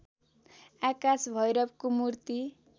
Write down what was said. आकाश भैरवको मूर्ति